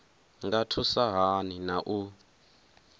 nga thusa hani na u